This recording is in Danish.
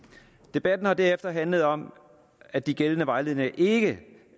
debatten har derefter handlet om at de gældende vejledninger ikke